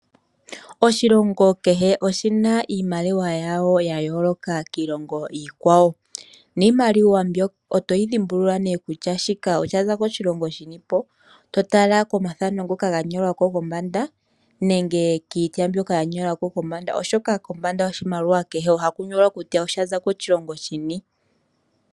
Oshilongo kehe oshina iimaliwa yaasho ya yoloka kwaambi yiilongo iikwawo, niimaliwa mbika oto yi yoolola ngele watala kethano ndyoka lyathaanekwa kombanda yiimaliwa ndjoka nenge kwaashoka shanyolwako kombanda, oshoka kombanda yoshimaliwa kehe oha kunyolwa kutya oshaza koshilongo shini.